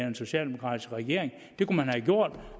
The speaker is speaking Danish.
en socialdemokratisk regering det kunne man have gjort